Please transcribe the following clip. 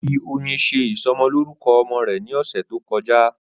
Ó fi oyin ṣe ìsọmọlórúkọ ọmọ rẹ̀ ní ọ̀sẹ̀ tó kọjá